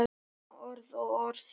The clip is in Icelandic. Svona orð og orð.